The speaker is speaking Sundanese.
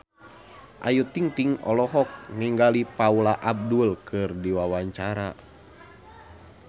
Ayu Ting-ting olohok ningali Paula Abdul keur diwawancara